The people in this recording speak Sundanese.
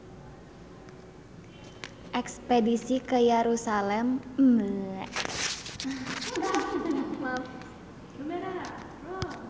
Espedisi ka Yerusalam kasebat sukses